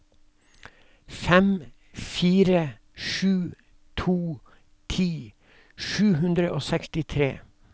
fem fire sju to ti sju hundre og sekstitre